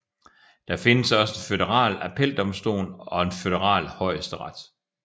Det findes også en føderal appeldomstol og en føderal højesteret